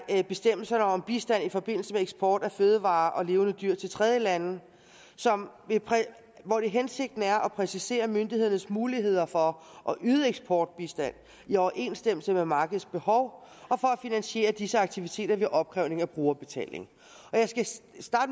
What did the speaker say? bestemmelserne om bistand i forbindelse med eksport af fødevarer og levende dyr til tredjelande hensigten er at præcisere myndighedernes muligheder for at yde eksportbistand i overensstemmelse med markedets behov og for at finansiere disse aktiviteter ved opkrævning af brugerbetaling